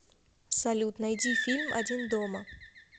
салют найди фильм один дома